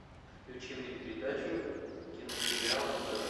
включи мне передачу киносериал на тв